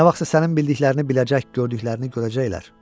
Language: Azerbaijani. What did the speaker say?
Nə vaxtsa sənin bildiklərini biləcək, gördüklərini görəcəklər.